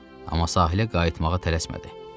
Amma sahilə qayıtmağa tələsmədi.